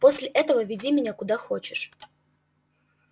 после этого веди меня куда хочешь